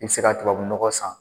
I bɛ se ka tubabunɔgɔ san.